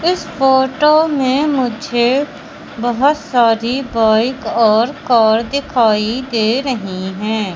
इस फोटो में मुझे बहुत सारी बाइक और कार दिखाई दे रही हैं।